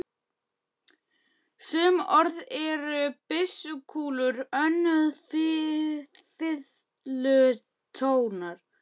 Sum orð eru byssukúlur, önnur fiðlutónar.